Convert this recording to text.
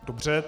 Dobře.